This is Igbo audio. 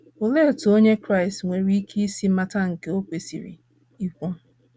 Olee otú Onye Kraịst nwere ike isi mata nke o kwesịrị igwu?